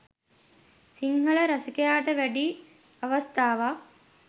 සිංහල රසිකයාට වැඩි අවස්ථාවක්